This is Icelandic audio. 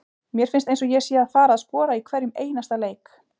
Mér finnst eins og ég sé að fara að skora í hverjum einasta leik.